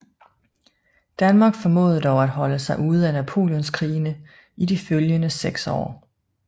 Danmark formåede dog at holde sig ude af Napoleonskrigene i de følgende seks år